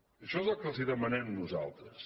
i això és el que els demanem nosaltres